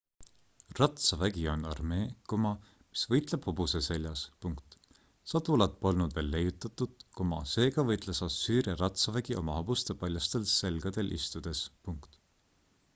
ratsavägi on armee mis võitleb hobuse seljas sadulat polnud veel leiutatud seega võitles assüüria ratsavägi oma hobuste paljastel selgadel istudes